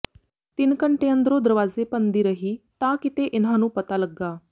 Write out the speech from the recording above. ਤਿੰਨ ਘੰਟੇ ਅੰਦਰੋਂ ਦਰਵਾਜ਼ੇ ਭੰਨਦੀ ਰਹੀ ਤਾਂ ਕਿਤੇ ਇਨ੍ਹਾਂ ਨੂੰ ਪਤਾ ਲੱਗਾ